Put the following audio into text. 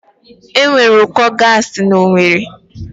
Enwere ụkọ gaasi na Owerri